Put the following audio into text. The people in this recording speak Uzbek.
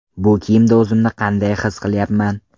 Bu kiyimda o‘zimni qanday his qilyapman?